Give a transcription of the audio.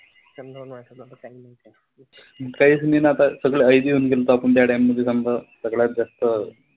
काहीच नई ना आता सगळं आयशी होऊन गेलतो आपण त्या time मध्ये समदं सगळ्यात जास्त.